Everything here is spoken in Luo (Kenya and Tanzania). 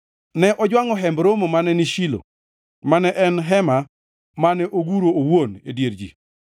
Ne ojwangʼo Hemb Romo mane ni Shilo, mane en hema mane oguro owuon e dier ji.